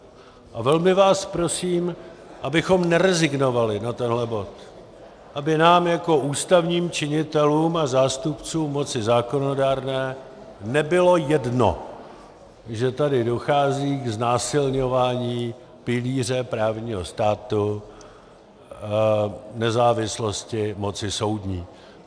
A velmi vás prosím, abychom nerezignovali na tenhle bod, aby nám jako ústavním činitelům a zástupcům moci zákonodárné nebylo jedno, že tady dochází k znásilňování pilíře právního státu, nezávislosti moci soudní.